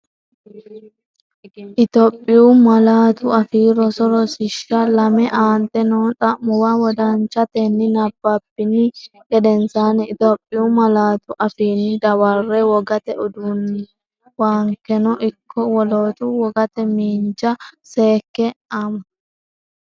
Itophiyu Malaatu Afii Roso Rosiishsha Lame Aante noo xa’muwa wodanchatenni nabbabbini gedensaanni Itophiyu malaatu afiinni dawarre, Wogate uduunnuwankeno ikko woloota wogate miinja seekke ama?